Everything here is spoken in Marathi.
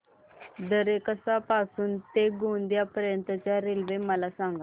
दरेकसा पासून ते गोंदिया पर्यंत च्या रेल्वे मला सांगा